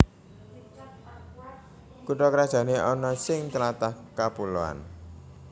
Kutha krajané ana sing tlatah kapuloan